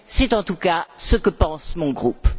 C'est en tout cas ce que pense mon groupe.